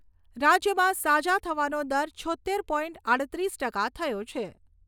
રાજ્યમાં સાજા થવાનો દર છોત્તેર પોઇન્ટ આઠત્રીસ ટકા થયો છે.